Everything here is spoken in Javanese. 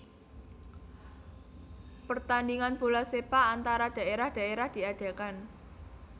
Pertandingan bola sepak antara daerah daerah diadakan